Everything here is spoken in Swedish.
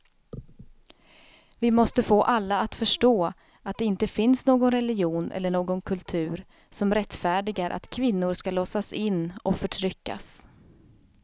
Vi måste få alla att förstå att det inte finns någon religion eller någon kultur som rättfärdigar att kvinnor ska låsas in och förtryckas.